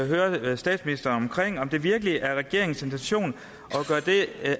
høre statsministeren om det virkelig er regeringens intention